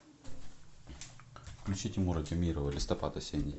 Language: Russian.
включи тимура темирова листопад осенний